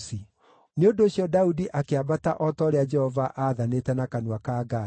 Nĩ ũndũ ũcio Daudi akĩambata o ta ũrĩa Jehova aathanĩte na kanua ka Gadi.